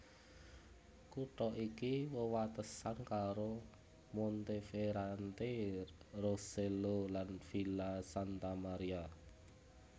Kutha iki wewatesan karo Monteferrante Rosello lan Villa Santa Maria